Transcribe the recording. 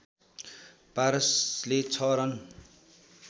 पारसले ६ run